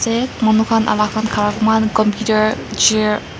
tey manu khan alak khan khara muihan compiter chair ap--